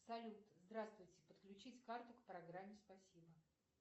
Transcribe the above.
салют здравствуйте подключить карту к программе спасибо